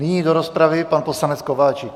Nyní do rozpravy pan poslanec Kováčik.